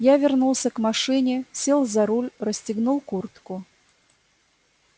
я вернулся к машине сел за руль расстегнул куртку